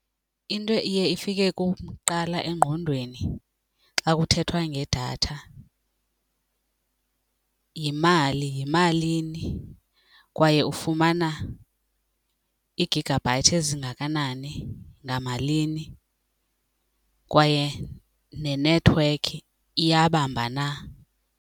Into iye ifike kum kuqala engqondweni xa kuthethwa ngedatha yimali. Yimalini kwaye ufumana i-gigabite ezingakanani ngamalini, kwaye nenethiwekhi iyabamba na.